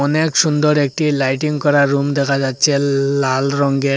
অনেক সুন্দর একটি লাইটিং করা রুম দেখা যাচ্ছে লাল রংয়ের।